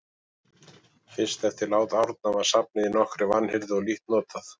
Fyrst eftir lát Árna var safnið í nokkurri vanhirðu og lítt notað.